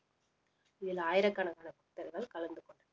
இதில் ஆயிரக்கணக்கான பக்தர்கள் கலந்து கொண்டனர்